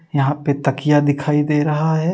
यहाँ पे तकिया दिखाई दे रहा है।